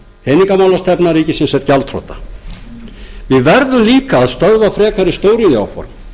peningamálastefna ríkisins er gjaldþrota við verðum líka að stöðva frekari stóriðjuáform